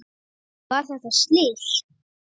Var þetta slys?